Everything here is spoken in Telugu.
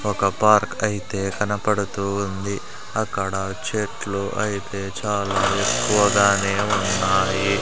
ఒక పార్క్ అయితే కనపడుతూ ఉంది అక్కడ చెట్లు అయితే చాలా ఎక్కువగానే ఉన్నాయి.